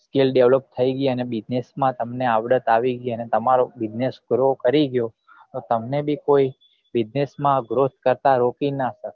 skil develop થઇ ગઈ અને business માં તમને આવડત આવી ગઈ અને તમારો business grow કરી ગયો તો તમને બી business માં તમને કોઈ growth કરતા રોકી નાં સકે